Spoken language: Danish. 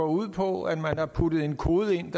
ud på at der er puttet en kode ind